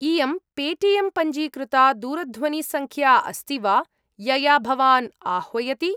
इयं Paytm पञ्जीकृता दूरध्वनिसङ्ख्या अस्ति वा, यया भवान् आह्वयति?